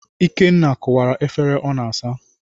Ikenna kụwara efere ọ n'asa.